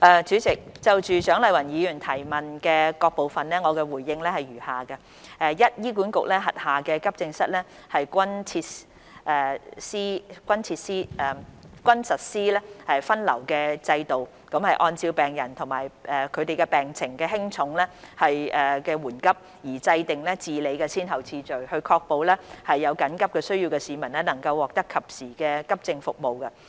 主席，就蔣麗芸議員質詢的各部分，我的答覆如下：一醫院管理局轄下急症室均實施分流制度，按照病人病情的輕重緩急而制訂治理的先後次序，確保有緊急需要的市民能獲得及時的急症服務。